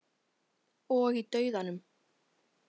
Og í dauðanum.